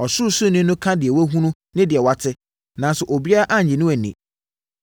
Ɔsoroni no ka deɛ wahunu ne deɛ wate, nanso obiara nnye no nni.